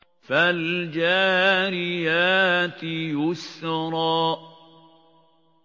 فَالْجَارِيَاتِ يُسْرًا